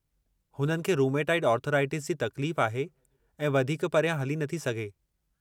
हुननि खे rheumatoid arthritis जी तकलीफ़ आहे ऐं वधीकु परियां हली नथी सघे।